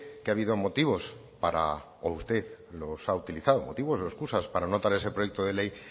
que ha habido motivos para o usted lo has utilizado motivos o excusas para no traer ese proyecto de ley